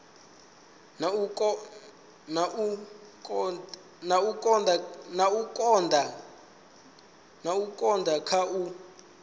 na u konda kha u